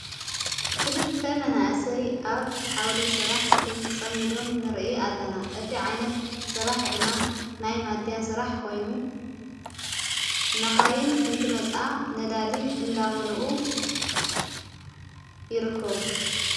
ክልተ መናእሰይ ኣብ ዓውደ ሥራሕ ተጸሚዶም ንርአ ኣለና እቲ ዓይነት ሥራሕ ድማ ናይ ማዲያ ሥራሕ ኮይኑ መኻይን እንትመፃኣ ነዳዲ እንዳመሉኡ ይርክቡ::